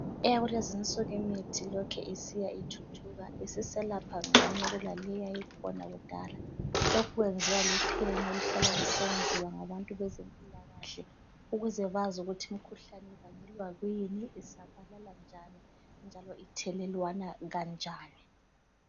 Eyakulezinsuku imithi lokhe isiya ithuthuka isiselapha ngcono kulaleyi eyayikhona kudala. Lokhu kwenziwa luphenyo oluhlala lusenziwa ngabantu bezempilakahle ukuze bazi ukuthi imikhuhlane ibangelwa kuyini, isabalala njani njalo ithelelwana kanjani.